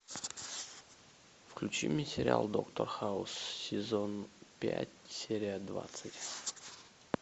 включи мне сериал доктор хаус сезон пять серия двадцать